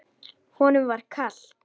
Honum var kalt.